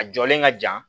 A jɔlen ka jan